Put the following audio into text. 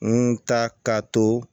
N ta ka to